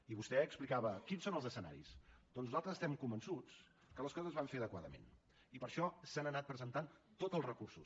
i vostè explicava quins són els escenaris doncs nosaltres estem convençuts que les coses es van fer adequadament i per això s’han anat presentant tots els recursos